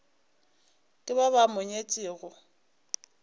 ke ba ba mo nyetšego